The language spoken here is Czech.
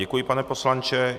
Děkuji, pane poslanče.